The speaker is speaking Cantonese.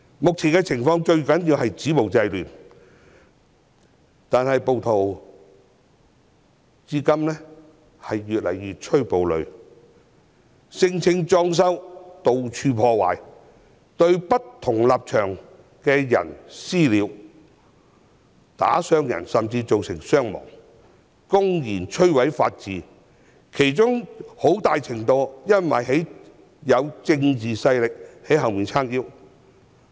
目前最重要的是止暴制亂，但暴徒卻越趨暴戾，聲稱"裝修"，到處破壞，對不同立場的人"私了"，甚至造成傷亡，公然摧毀法治，很大程度是因為有政治勢力在背後撐腰。